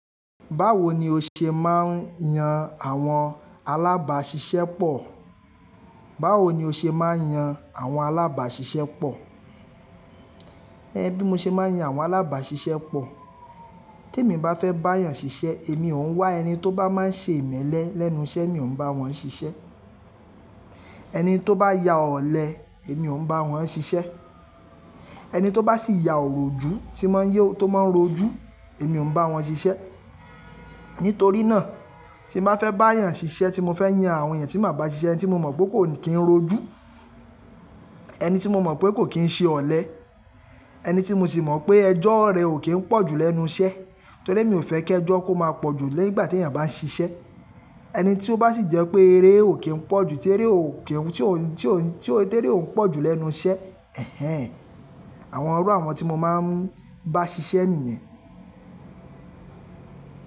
Báwo ni o ṣe máa ń yan àwọn alábàáṣiṣẹ́ pọ̀? Báwo ni o ṣe máa ń yan àwọn alábàáṣiṣẹ́ pọ̀? Bí mo ṣe máa ń yan àwọn alábàáṣiṣẹ́ pọ̀. Tí èmi bá fẹ́ bá èèyàn ṣiṣẹ́, èmi ò ń wá ẹni tó bá máa ń ṣe ìmẹ́lẹ́ lẹ́nu iṣẹ́ mi ò ń bá wọn ṣiṣẹ́. Ẹni tó bá ya ọ̀lẹ, èmi ò ń bá wọn ṣiṣẹ́. Ẹni tó bá sì ya òrójú tí n mán rójú, èmi ò ń bá wọn ṣiṣẹ́. Nítorí náà, tí n bà fẹ́ bá èèyàn ṣiṣẹ́ tí mo fẹ́ yan àwọn èèyàn tí màá bá ṣiṣẹ́ ẹni tí mo mọ̀ pé kò kí ń rójú, ẹni tí mo mọ̀ pé kò kí ń ṣe ọ̀lẹ́, ẹni tí mo sì mọ̀ pé ẹjọ́ rẹ̀ ò kí ń pọ̀ jú lẹ́nu iṣẹ́. Torí emi ò fẹ́ kí ẹjọ́ kó máa pọ̀ jú nígbà tí èèyàn bá ń ṣiṣẹ́. Ẹni tí ó bá sì jẹ́ pé eré ò kí ń pọ̀ jú, tí eré ò kí ń tí ò tí eré ò ń pọ̀ jú lẹ́nu iṣẹ́. Àwọn irú àwọn tí mo máa ń bá ṣiṣẹ́ nìyẹn.